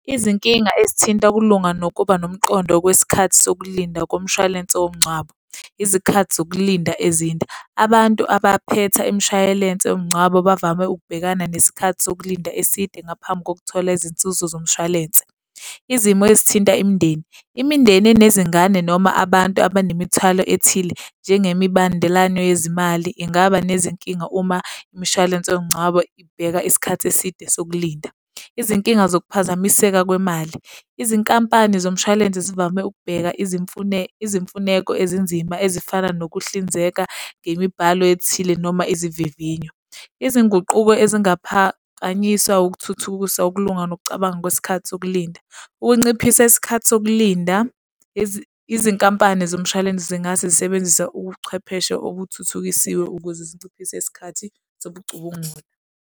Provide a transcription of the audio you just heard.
Izinkinga ezithinta ukulunga nokuba nomqondo kwesikhathi sokulinda komshwalense womngcwabo, izikhathi zokulinda ezinde. Abantu abaphethe imishwalense yomngcwabo bavame ukubhekana nesikhathi sokulinda eside ngaphambi kokuthola izinzuzo zomshwalense. Izimo ezithinta imindeni. Imindeni nezingane, noma abantu abanemithwalo ethile njengemibandelano yezimali ingaba nezinkinga uma imishwalense yomngcwabo ibheka isikhathi eside sokulinda. Izinkinga zokuphazamiseka kwemali. Izinkampani zomshwalense zivame ukubheka izimfuneko ezinzima ezifana nokuhlinzeka ngemibhalo ethile noma izivivinyo. Izinguquko ezingaphakanyiswa ukuthuthukisa ukulunga nokucabanga kwesikhathi sokulinda. Ukunciphisa isikhathi sokulinda, izinkampani zomshwalense zingase zisebenzise ubuchwepheshe okuthuthukisiwe ukuze zinciphise isikhathi sobucubungula.